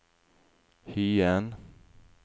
Hyen